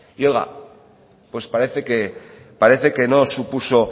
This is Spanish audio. y oiga pues parece que no supuso